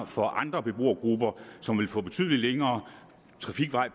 for andre beboergrupper som vil få betydelig længere trafikvej